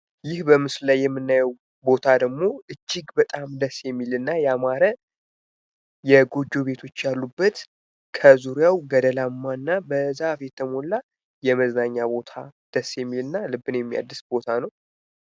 ይህ በምስሉ ላይ የምናየው ቦታ ደግሞ እጂግ በጣም ደስ የሚል እና ያማረ ጎጆ ቤቶች ያሉበት ከዙሪያው ገደላማና በዛፍ የተሞላ የመዝናኛ ቦታ ደስ የሚልና ልብን የሚያድስ ቦታ ነው።